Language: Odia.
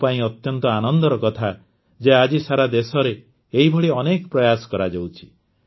ମୋ ପାଇଁ ଅତ୍ୟନ୍ତ ଆନନ୍ଦର କଥା ଯେ ଆଜି ସାରା ଦେଶରେ ଏହିଭଳି ଅନେକ ପ୍ରୟାସ କରାଯାଉଛି